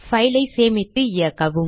file ஐ சேமித்து இயக்கவும்